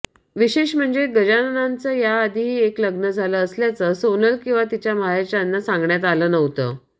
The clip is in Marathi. विशेष म्हणजे गजाननचं याआधीही एक लग्न झालं असल्याचं सोनल किंवा तिच्या माहेरच्यांना सांगण्यात आलं नव्हतं